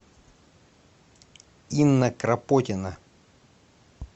инна крапотина